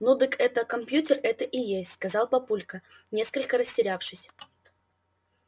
ну дык это компьютер это и есть сказал папулька несколько растерявшись